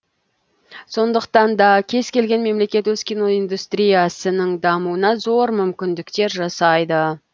сондықтан да кез келген мемлекет өз киноиндустриясының дамуына зор мүмкіндіктер жасайды